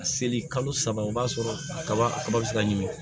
A seli kalo saba o b'a sɔrɔ a kaba a kaba bi se ka ɲimi